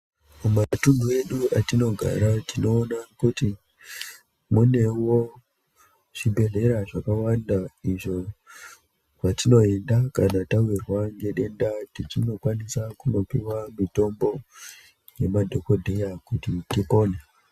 Kumatunhu edu atinogara tinoona kuti munewo zvibhedhlera zvakawanda izvo kwatinoenda kana tawirwa ngedenda tichinokwanisa kunopihwa mitombo nemadhokodheya kuti tipone.